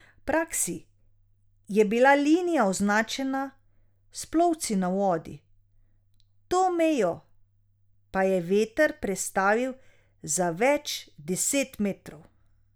V praksi je bila linija označena s plovci na vodi, to mejo pa je veter prestavil za več deset metrov.